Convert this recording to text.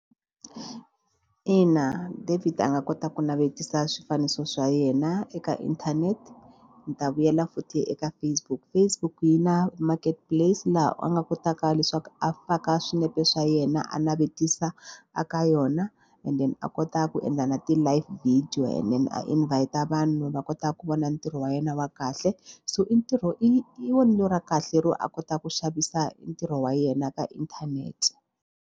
Ina, David nga kota ku navetisa swifaniso swa yena eka inthanete. Ni ta vuyela futhi eka Facebook Facebook yi na marketplace laha a nga kotaka leswaku a faka swinepe swa yena a navetisa eka yona and then a kota ku endla na ti-live video and then a invest-a vanhu va kota ku vona ntirho wa yena wa kahle so i ntirho i vonelo ra kahle ro a kotaka ku xavisa i ntirho wa yena ka inthanete.